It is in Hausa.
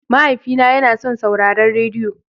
Mahaifina yana son sauraron rediyo.